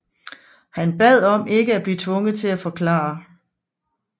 Han bad om ikke at blive tvunget til at forklare